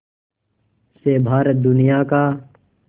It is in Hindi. से भारत दुनिया का